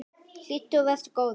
Hlýddu og vertu góður!